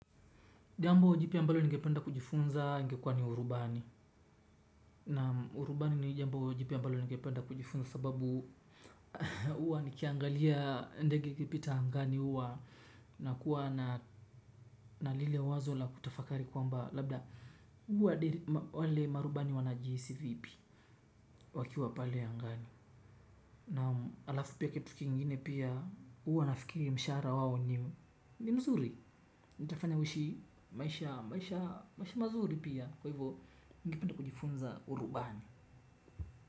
Jambo jipya ambalo ningependa kujifunza ingekuwa ni urubani. Na urubani ni jambo jipya ambalo ningependa kujifunza sababu huwa nikiangalia ndege ikipita angani huwa nakuwa na na lile wazo la kutafakari kwamba labda wale marubani wanajihisi vipi wakiwa pale angani. Naam, halafu pia kitu kingine pia huwa nafikiri mshahara wao ni mzuri itafanya huishi maisha maisha maisha mazuri pia. Kwa hivyo ningependa kujifunza urubani.